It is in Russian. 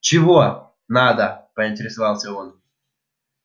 чего надо поинтересовался он